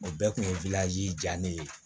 O bɛɛ kun ye ja ne ye